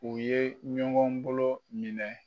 U ye ɲɔgɔn golo minɛ